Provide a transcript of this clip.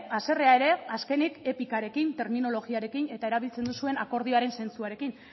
haserrea ere azkenik etikarekin terminologiarekin eta erabiltzen duzuen akordioaren zentzuarekin